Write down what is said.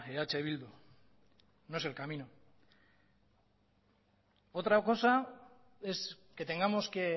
eh bildu no es el camino otra cosa es que tengamos que